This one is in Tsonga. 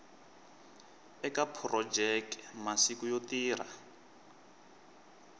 eka phurojeke masiku yo tirha